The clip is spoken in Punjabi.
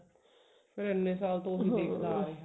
ਫੇਰ ਇਹਨੇ ਸਾਲ ਤੋਂ ਉਹੀ ਦੇਖਦਾ ਆ ਰਿਹਾ